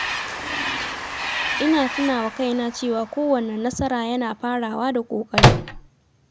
Ina tuna wa kaina cewa kowanne nasara yana farawa da ƙoƙari.